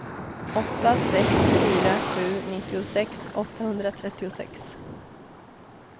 åtta sex fyra sju nittiosex åttahundratrettiosex